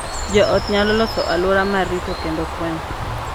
Jo ot nyalo loso alwora ma rito kendo konyo